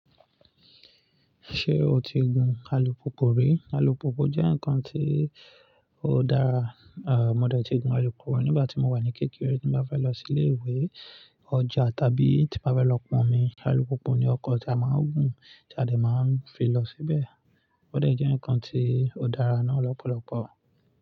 Ṣé o ti gun alùpùpù rí? Alùpùpù jẹ́ ǹkan tí ó dára. Mo dẹ̀ ti gun alùpùpù rí nígbà tí mo wà ní kékeré. Tí mo bá fẹ́ lọ sí ilé ìwé, ọjà tàbí tí mo bá fẹ́ lọ pọn omi, alùpùpù ni ọkọ̀ tí a máa ń gùn tí a dè máa ń fi lọ síbẹ̀. Ó dẹ̀ jẹ́ ǹkan tí ó dára náà lọ́pọ̀lọpọ̀